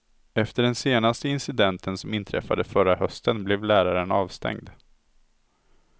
Efter den senaste incidenten som inträffade förra hösten blev läraren avstängd.